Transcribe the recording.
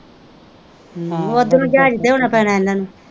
ਓਧਰੋਂ ਜਹਾਜ ਤੇ ਆਉਣਾ ਪੈਣਾ ਇਹਨਾਂ ਨ।